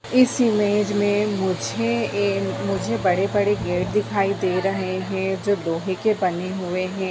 इस इमेज में मुझे ए मुझे बडे बडे गेट दिखाई दे रहे हैं जो लोहे के बने हुए हैं।